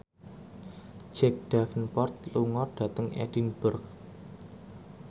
Jack Davenport lunga dhateng Edinburgh